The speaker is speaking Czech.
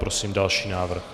Prosím další návrh.